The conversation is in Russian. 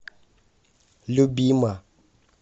любима